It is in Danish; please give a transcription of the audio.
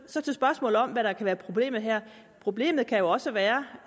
så til spørgsmålet om hvad der kan være problemet her problemet kan jo også være